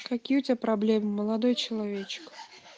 какие у тебя проблемы молодой человечек